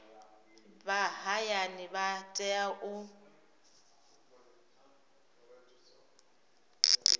vha hayani vha tea u